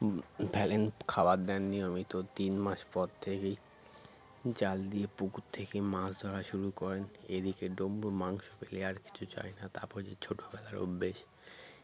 উম ফেলেন খাবার দেন নিয়মিত তিন মাস পর থেকেই জাল দিয়ে পুকুর থেকে মাছ ধরা শুরু করেন এদিকে ডমরু মাংস পেলে আর কিছু চায়না তারপর যে ছোটবেলার অভ্যেস BREATHE